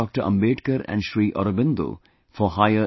Ambedkar and Shri Aurobindo for higher education